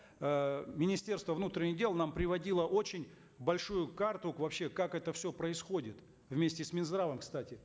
э министерство внутренних дел нам приводило очень большую карту вообще как это все происходит вместе с минздравом кстати